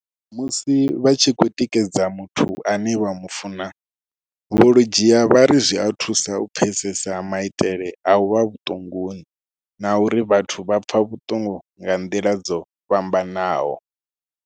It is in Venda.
Musi vha tshi khou tikedza muthu ane vha mu funa, Vho Ludziya vha ri zwi a thusa u pfesesa maitele a u vha vhuṱunguni na uri vhathu vha pfa vhuṱungu nga nḓila dzo fhambanaho.